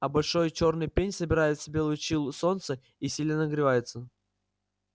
а большой чёрный пень собирает в себя лучи солнца и сильно нагревается